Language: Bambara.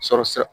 Sɔrɔsira